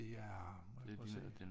Det er må jeg prøve at se